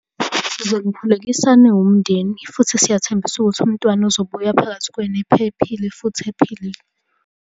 Sizonikhulekisa niwumndeni, futhi siyathembisa ukuthi umntwana uzobuya phakathi kwenu ephephile, futhi ephilile.